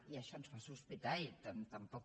i això ens fa sospitar i tampoc